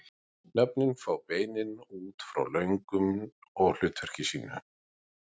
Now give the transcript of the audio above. Nöfnin fá beinin út frá lögun og hlutverki sínu.